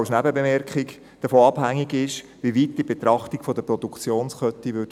Das ist davon abhängig, wie weit die Betrachtung der Produktionskette geht.